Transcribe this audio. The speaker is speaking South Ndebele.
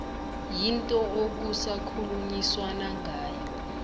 yinto okusakhulunyiswana ngayo